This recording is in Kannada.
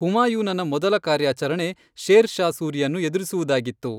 ಹುಮಾಯೂನನ ಮೊದಲ ಕಾರ್ಯಾಚರಣೆ ಶೇರ್ ಷಾ ಸೂರಿಯನ್ನು ಎದುರಿಸುವುದಾಗಿತ್ತು.